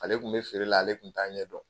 Ale tun bɛ feere la ale tun t'a ɲɛdɔn